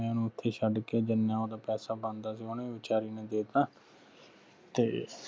ਤੇ ਮੈਂ ਓਹ ਨੂੰ ਓਥੇ ਛੱਡਕੇ ਜਿਨ੍ਹਾਂ ਓਹਦਾ ਪੈਸਾ ਬਣਦਾ ਸੀਗਾ ਓਹਨੇ ਵਿਚਾਰੀ ਨੇ ਦੇ ਤਾ ਤੇ